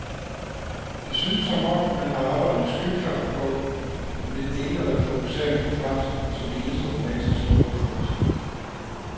Det synes som om, man har arbejdet med skyklapper på ved den en-øjede fokusering på fransk som eneste romanske sprog i folkeskolen.